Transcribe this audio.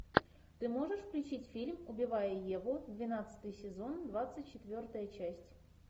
ты можешь включить фильм убивая еву двенадцатый сезон двадцать четвертая часть